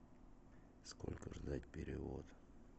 сколько ждать перевод